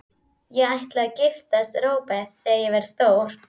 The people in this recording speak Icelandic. Ég ætla að giftast Róbert þegar ég verð stór.